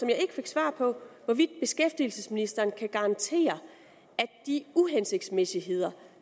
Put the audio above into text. jeg ikke fik svar på hvorvidt beskæftigelsesministeren kan garantere at de uhensigtsmæssigheder